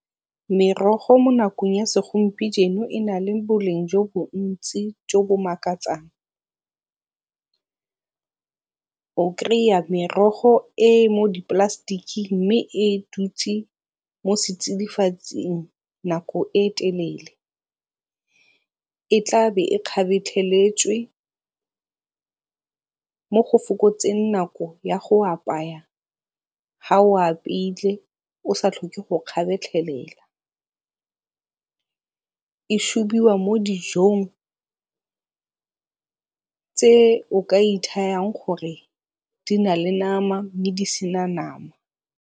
Merogo mo nakong ya e na le boleng jo bontsi jo bo makatsang. O kry-a merogo e e mo di-plastic-keng mme e dutse mo setsidifatsing nako e telele. E tla be e kgabetlheletswe mo gofokotseng nako ya go apaya ha o apeile o sa tlhoke go kgabetlhelela. E shubiwa mo dijong tse o ka ithayang gore di na le name mme di sena nama.